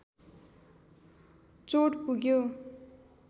चोट पुग्यो